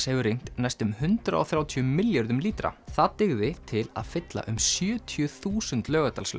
hefur rignt næstum hundrað og þrjátíu milljörðum lítra það dygði til að fylla um sjötíu þúsund